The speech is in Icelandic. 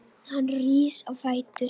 Hann rís á fætur.